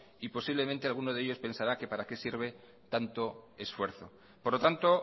y posiblemente alguno de ellos pensará que para qué sirve tanto esfuerzo por lo tanto